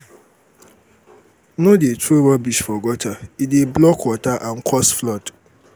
no dey throw rubbish for gutter e go block water and cause flood.